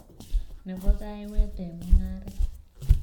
Ne bo kaiyweet eng mung'aret.